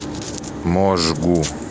можгу